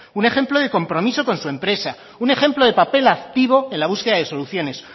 un ejemplo de compromiso con su empresa un ejemplo de papel activo en la búsqueda de soluciones